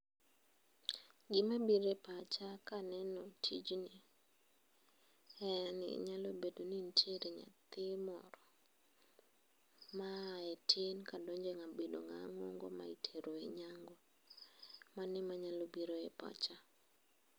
Gima bire pacha ka nono tijni en ni nyalo bedo ni nitiere nyathi moro maa e tin kadonjo e bedo ng'awa ng'ongo ma itero e nyangu .Mano ema nya biro e pacha.